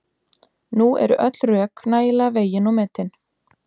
Nú eru öll rök nægilega vegin og metin.